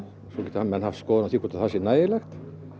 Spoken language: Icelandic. svo geta menn haft skoðun á því hvort það sé nægilegt